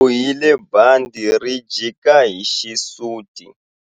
U bohile bandhi ri jika hi xisuti.